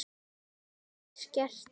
Það hafi skert öryggi.